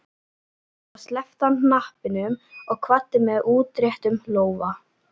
Svo sleppti hann hnappinum og kvaddi með útréttum lófa.